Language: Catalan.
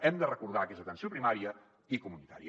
hem de recordar que és atenció primària i comunitària